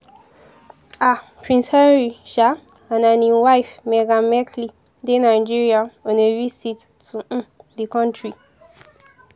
um prince harry um and and im wife meghan markle dey nigeria on a visit to um di kontri.